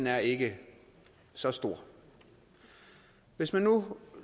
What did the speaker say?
er ikke så stor hvis man nu